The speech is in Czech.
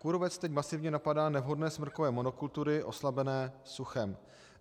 Kůrovec teď masivně napadá nevhodné smrkové monokultury oslabené suchem.